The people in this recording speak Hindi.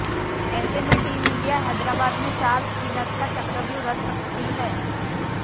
ऐसे में टीम इंडिया हैदराबाद में चार स्पिनर्स का चक्रव्यूह रच सकती है